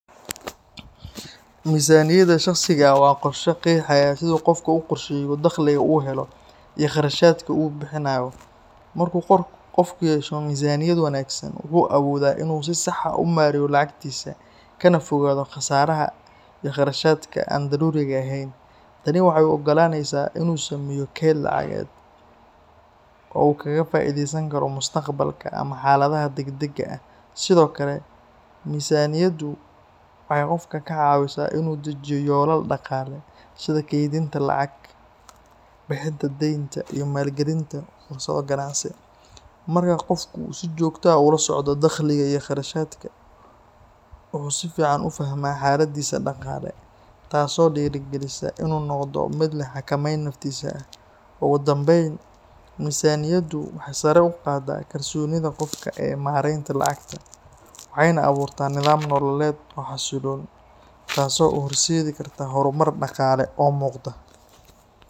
Miisaaniyadda shakhsiga ah waa qorshe qeexaya sida qofku u qorsheeyo dakhliga uu helo iyo kharashaadka uu bixinayo. Marka qofku yeesho miisaaniyad wanaagsan, wuxuu awoodaa inuu si sax ah u maareeyo lacagtiisa, kana fogaado khasaaraha iyo kharashaadka aan daruuriga ahayn. Tani waxay u ogolaanaysaa inuu sameeyo kayd lacageed, oo uu kaga faa’iideysan karo mustaqbalka ama xaaladaha degdegga ah. Sidoo kale, miisaaniyaddu waxay qofka ka caawisaa in uu dejiyo yoolal dhaqaale sida kaydinta lacag, bixinta deynta, iyo maalgelinta fursado ganacsi. Marka qofku uu si joogto ah ula socdo dakhliga iyo kharashaadka, wuxuu si fiican u fahmaa xaaladdiisa dhaqaale, taasoo dhiirrigelisa in uu noqdo mid leh xakameyn naftiisa ah. Ugu dambeyn, miisaaniyaddu waxay sare u qaaddaa kalsoonida qofka ee maaraynta lacagta, waxayna abuurtaa nidaam nololeed oo xasilloon, taasoo u horseedi karta horumar dhaqaale oo muuqda.